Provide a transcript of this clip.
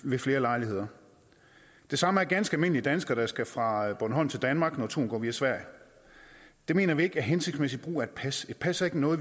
ved flere lejligheder det samme er ganske almindelige danskere der skal fra bornholm til danmark når turen går via sverige det mener vi ikke er hensigtsmæssig brug af et pas et pas er ikke noget